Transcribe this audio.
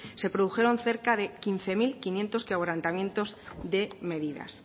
se produjeron cerca de quince mil quinientos quebrantamientos de medidas